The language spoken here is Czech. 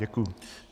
Děkuji.